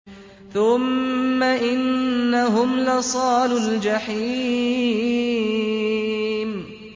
ثُمَّ إِنَّهُمْ لَصَالُو الْجَحِيمِ